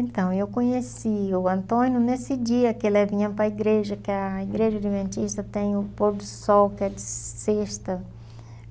Então, eu conheci o Antônio nesse dia que ele vinha para a igreja, que a igreja adventista tem o pôr do sol, que é de sexta